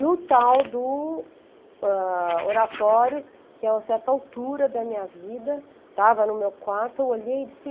No tal do ãh, oratório, que a certa altura da minha vida estava no meu quarto, eu olhei e disse...